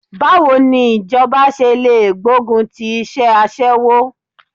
Báwo ni ìjọba ṣe lè gbógun ti iṣẹ́ aṣẹ́wó?